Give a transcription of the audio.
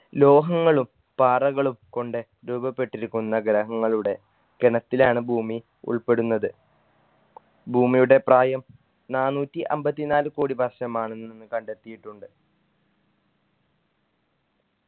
ലോഹങ്ങളും പാറകളും കൊണ്ട് രൂപപ്പെട്ടിരിക്കുന്ന ഗ്രഹങ്ങളുടെ ഗണത്തിലാണ് ഭൂമി ഉൾപ്പെടുന്നത് ഭൂമിയുടെ പ്രായം നാനൂറ്റി അമ്പത്തിനാല് കോടി വർഷമാണെന്ന് നിന്ന് കണ്ടെത്തിയിട്ടുണ്ട്